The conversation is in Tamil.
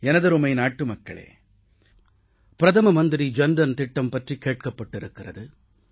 எனதருமை நாட்டுமக்களே பிரதம மந்திரி ஜன் தன் திட்டம் பற்றிக் கேட்கப் பட்டிருக்கிறது